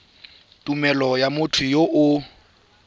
tumelelo ya motho yo o